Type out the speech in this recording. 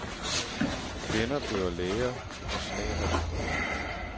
Kvinder bliver læger og snedkere.